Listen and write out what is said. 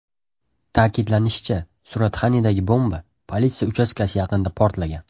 Ta’kidlanishicha, Suratxanidagi bomba politsiya uchastkasi yaqinida portlagan.